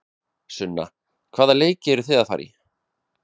Sunna: Hvaða leiki eruð þið að fara í?